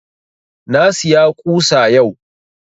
Na siya ƙusa yau